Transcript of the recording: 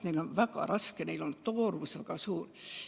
Neil on tõesti väga raske, nende koormus on väga suur.